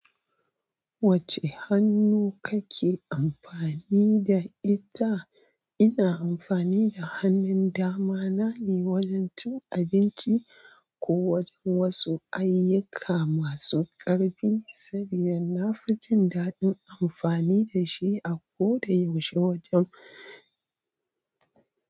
Wacce hannu kake amfani da ita? Ina amfani da hannun dama na ne wajen cin abinci ko wajen wasu ayyuka masu ƙarfi saboda na fi jin daɗin amfani da shi a koda yaushe wajen.